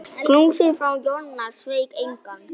Knúsið frá Jonna sveik engan.